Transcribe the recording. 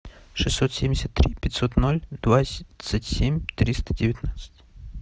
шестьсот семьдесят три пятьсот ноль двадцать семь триста девятнадцать